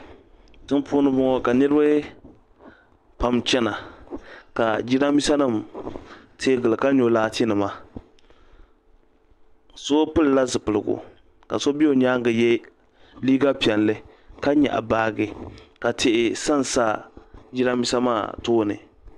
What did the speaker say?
Tiŋ puuni n bɔŋo ka niriba pam chana ka Jiranbiisa nim teeyi gili ka nyɔ laati nima so pili la zipiligu ka so bɛ o nyaanga yɛ liiga piɛlli ka nyaɣi baaji ka sa n sa Jiranbiisa maa tooni.